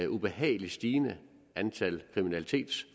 ubehageligt stigende antal kriminelle